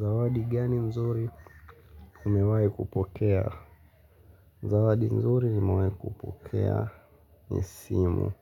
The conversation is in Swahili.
Zawadi gani mzuri umewahi kupokea? Zawadi mzuri nimewahi kupokea ni simu.